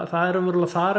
þar er